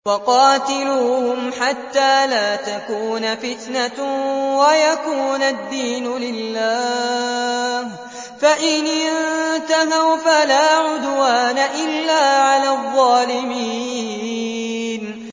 وَقَاتِلُوهُمْ حَتَّىٰ لَا تَكُونَ فِتْنَةٌ وَيَكُونَ الدِّينُ لِلَّهِ ۖ فَإِنِ انتَهَوْا فَلَا عُدْوَانَ إِلَّا عَلَى الظَّالِمِينَ